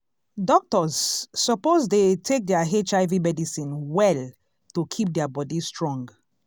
doctors suppose dey take their hiv medicine well to keep their body strong.